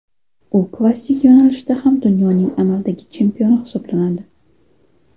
U klassik yo‘nalishda ham dunyoning amaldagi chempioni hisoblanadi.